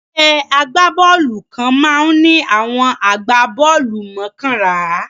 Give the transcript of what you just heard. Ẹgbẹ́ agbá-bọ́ọ́lù kan máa ń ní àwọn agbá-bọ́ọ́lù mọ́kànlá.